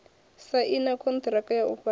saina konṱiraka ya u fhaṱa